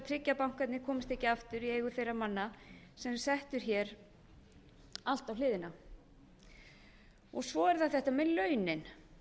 tryggja að bankarnir komist ekki aftur í eigu þeirra manna sem settu allt á hliðina svo er það þetta með launin